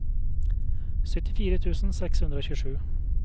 syttifire tusen seks hundre og tjuesju